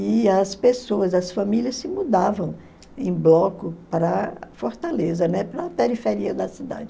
E as pessoas, as famílias se mudavam em bloco para Fortaleza, né, para a periferia da cidade.